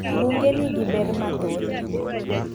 Bunge nigi ber mahoth.